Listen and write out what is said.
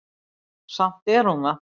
Samt er hún það.